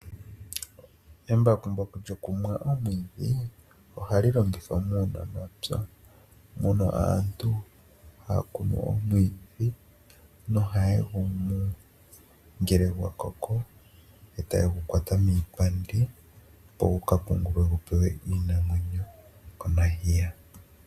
Embakumbaku lyokumwa omwiidhi ohali longithwa muunamapya, mono aantu haya kunu omwiidhi nohaye gumu ngele gwakoko eta yegu kwata miipandi opo wuga pungulwe gupewe iinamwenyo komadhiya.